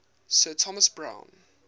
sir thomas browne